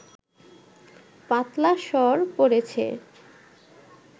পাতলা সর পড়েছে